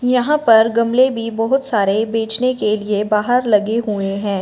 यहां पर गमले भी बहुत सारे बेचने के लिए बाहर लगे हुए हैं।